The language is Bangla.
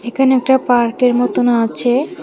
এখানে একটা পার্কের মতন আচে।